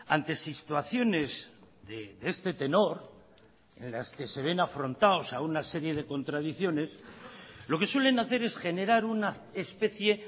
ante situaciones de este tenor en las que se ven afrontados a una serie de contradicciones lo que suelen hacer es generar una especie